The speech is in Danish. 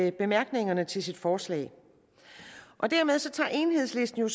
i bemærkningerne til sit forslag dermed tager enhedslisten jo